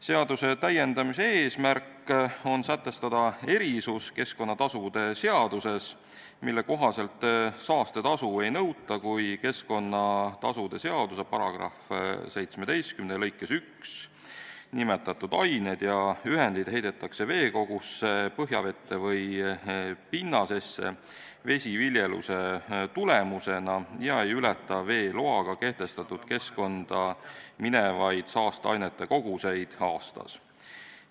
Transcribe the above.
Seaduse täiendamise eesmärk on sätestada erisus keskkonnatasude seaduses, mille kohaselt saastetasu ei nõuta, kui keskkonnatasude seaduse § 17 lõikes 1 nimetatud ained ja ühendid heidetakse veekogusse, põhjavette või pinnasesse vesiviljeluse tulemusena ega ületata veeloaga kehtestatud keskkonda minevaid saasteainete koguseid aastas.